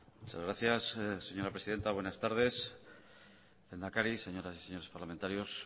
muchas gracias señora presidenta buenas tardes lehendakari señoras y señores parlamentarios